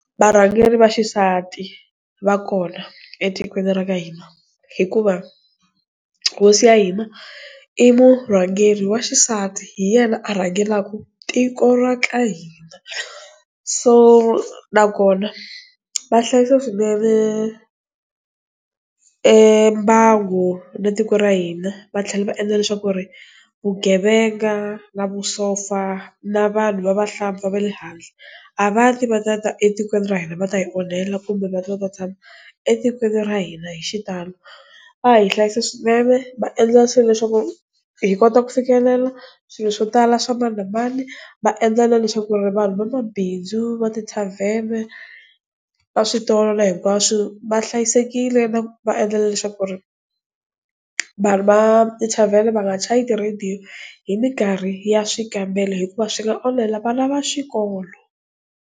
Varhangeri va xisati va kona etikweni ra ka hina hikuva hosi ya hina i murhangeri wa xisati hi yena a rhangelaka tiko ra ka hina so nakona vahlayisa swinene mbangu na tiko ra hina va tlhela va endla leswaku vugevenga na vusopfa na vanhu va vahlampfa va le handle a va ti va ta ta etikweni ra hina va ta hi onhela kumbe va ta va tshama etikweni ra hina hi xitalo va hi hlayisa swinene va endla swilo leswaku hi kota ku fikelela swilo swo tala swa mani na mani va endla na leswaku vanhu va mabindzu va tithavheni va switolo na hikwaswu va hlayisekile na va endla na leswaku ri vanhu va tithavheni va nga chaya ti-radio hi mikarhi ya swikambelo hikuva swi nga onhela vana va xikolo.